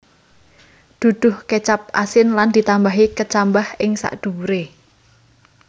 Duduh kecap asin lan ditambahi kecambah ing sadhuwure